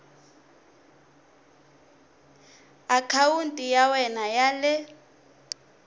akhawunti ya wena ya le